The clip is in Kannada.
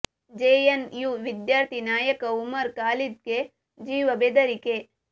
ಜೆ ಎನ್ ಯು ವಿದ್ಯಾರ್ಥಿ ನಾಯಕ ಉಮರ್ ಖಾಲಿದ್ ಗೆ ಜೀವ ಬೆದರಿಕೆ